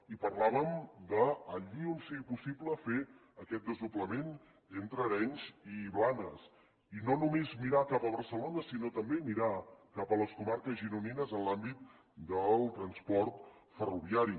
i parlàvem de allí on sigui possible fer aquest desdoblament entre arenys i blanes i no només mirar cap a barcelona sinó també mirar cap a les comarques gironines en l’àmbit del transport ferroviari